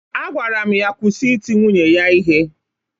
Agwara m ya kwụsị iti nwunye ya ihe!